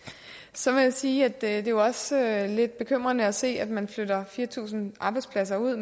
så må jeg sige at det også er lidt bekymrende at se at man flytter fire tusind arbejdspladser ud